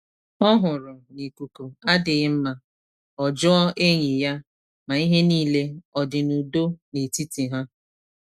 Ọ hụrụ na ikuku adịghị mma, o jụọ enyi ya ma ihe niile ọdị n’udo n’etiti ha.